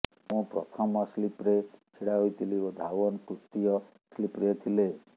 ମୁଁ ପ୍ରଥମ ସ୍ଲିପ୍ରେ ଛିଡା ହୋଇଥିଲି ଏବଂ ଧାୱନ ତୃତୀୟ ସ୍ଲିପ୍ରେ ଥିଲେ